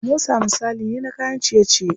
Samosa misali ne na kayan ciye ciye.